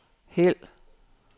hæld